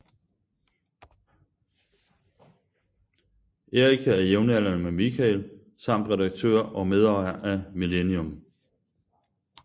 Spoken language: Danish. Erika er jævnaldrende med Mikael samt redaktør og medejer af Millennium